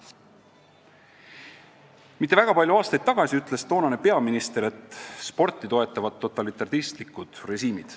Mitte väga palju aastaid tagasi ütles toonane peaminister, et sporti toetavad totalitaristlikud režiimid.